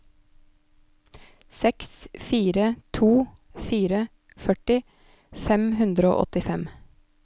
seks fire to fire førti fem hundre og åttifem